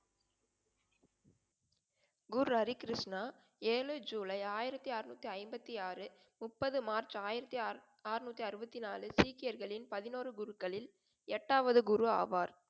குரு ஹரிகிருஷ்ணா ஏழு ஜூலை ஆயிரத்தி அறுநூத்தி ஐம்பத்தி ஆறு, முப்பது மார்ச் ஆயிரத்தி ஆறுநூத்தி அறுபத்தி நாலு சீக்கியர்களின் பதினொரு குருக்களில் எட்டாவது குரு ஆவார்.